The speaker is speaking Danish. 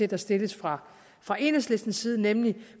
der stilledes fra fra enhedslistens side nemlig